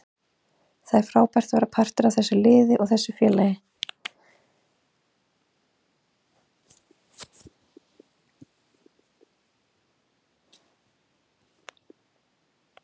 Það er frábært að vera partur af þessu liði og þessu félagi.